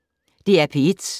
DR P1